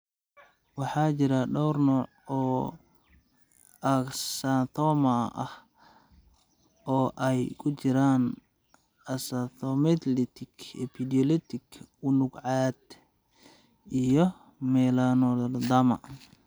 Waxaa jira dhowr nooc oo acanthoma ah, oo ay ku jiraan "acantholytic", "epidermolytic", "unug cad", iyo "melanoacanthoma".